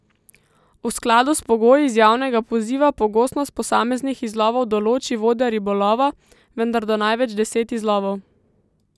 V skladu s pogoji iz javnega poziva pogostost posameznih izlovov določi vodja ribolova, vendar do največ deset izlovov.